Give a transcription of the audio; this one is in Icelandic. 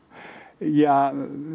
ja